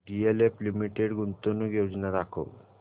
DLF limited गुंतवणूक योजना दाखव